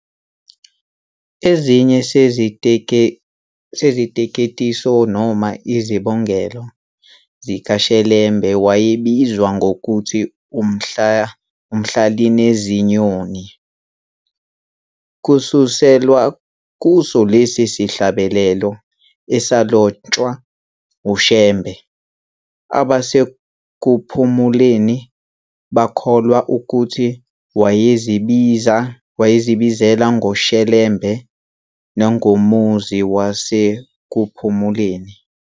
Esinye seziteketiso noma izibongelo zikaShelembe wayebizwa ngokuthi "uMhlalineziyoni" kususelwa kuso lesi sihlabelelo esalotshwa uShembe, abaseKuphumuleni bakholwa ukuthi wayebikezela ngoShelembe nangomuzi waseKuphumuleni.